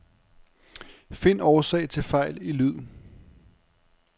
Find årsag til fejl i lyd.